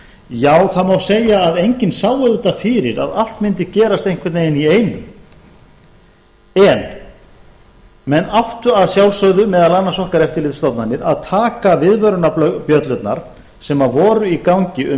já það má segja að enginn sá auðvitað fyrir að allt mundi gerast einhvern veginn í einu en menn áttu að sjálfsögðu meðal annars okkar eftirlitsstofnanir að taka viðvörunarbjöllurnar sem voru í gangi um